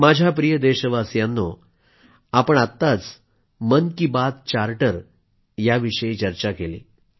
माझ्या प्रिय देशवासियांनो आपण आत्ताच मन की बात चार्टर याविषयी चर्चा केली